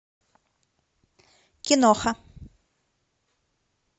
киноха